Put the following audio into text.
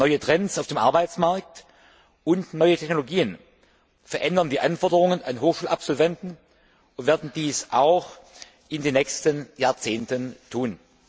Neue Trends auf dem Arbeitsmarkt und neue Technologien verändern die Anforderungen an Hochschulabsolventen und werden dies auch in den nächsten Jahrzehnten tun.